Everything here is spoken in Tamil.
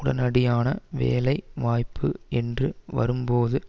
உடனடியான வேலை வாய்ப்பு என்று வரும்போது